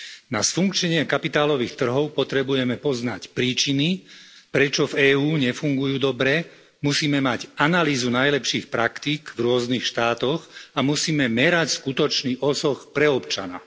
Na sfunkčnenie kapitálových trhov potrebujeme poznať príčiny, prečo v EÚ nefungujú dobre, musíme mať analýzu najlepších praktík v rôznych štátoch a musíme merať skutočný osoh pre občana.